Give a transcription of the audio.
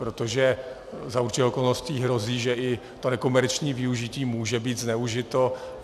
Protože za určitých okolností hrozí, že i to nekomerční využití může být zneužito.